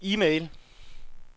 e-mail